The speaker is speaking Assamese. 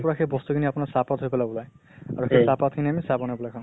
পৰা সেই বস্তু খিনি আপোনাৰ চাহ পাত হৈ পেলাই উলায় আৰু সেই চাহ পাত খিনি আমি চাহ বনাই পালে খাওঁ।